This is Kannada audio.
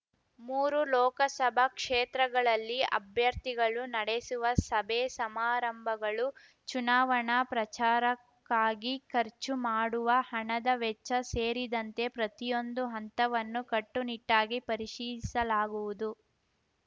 ಮೂರು ಲೋಕಸಭಾ ಕ್ಷೇತ್ರಗಳಲ್ಲಿ ಅಭ್ಯರ್ಥಿಗಳು ನಡೆಸುವ ಸಭೆ ಸಮಾರಂಭಗಳು ಚುನಾವಣಾ ಪ್ರಚಾರಕ್ಕಾಗಿ ಖರ್ಚು ಮಾಡುವ ಹಣದ ವೆಚ್ಚ ಸೇರಿದಂತೆ ಪ್ರತಿಯೊಂದು ಹಂತವನ್ನು ಕಟ್ಟುನಿಟ್ಟಾಗಿ ಪರಿಶೀಲಿಸಲಾಗುವುದು